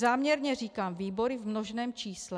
Záměrně říkám výbory v množném čísle.